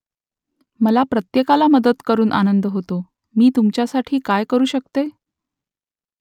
मला प्रत्येकाला मदत करून आनंद होतो तुमच्यासाठी मी काय करू शकतो ?